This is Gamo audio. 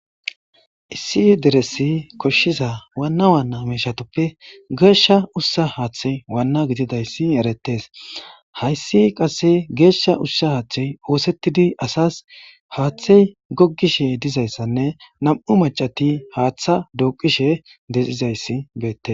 Issi deressi koshshiza Wana Wana mishatuppe geshsha ushsha haththeyi Wanaa gididayissi ereetes.hayissi qase geshsha ushsha haththeyi oththetidi asasi haththeyi gogishshe dizayissanne nam''u macati haththa duqishshe dizayiss betees .